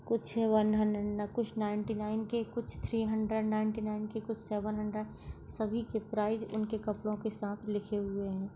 कुछ है one hundred कुछ नाइंटी नाइन के कुछ थ्री हंड्रेड नाइंटी नाइन के कुछ सेवन हंड्रेड सभी के प्राइज उनके कपड़ो के साथ लिखे हुए है।